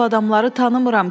Mən bu adamları tanımıram.